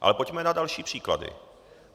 Ale pojďme na další příklady.